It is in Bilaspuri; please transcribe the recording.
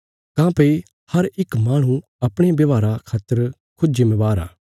काँह्भई हर इक माहणु अपणे व्यवहारा खातर खुद जिम्मेवार आ